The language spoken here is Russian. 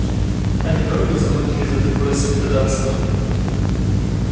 они дорого заплатили за такое святотатство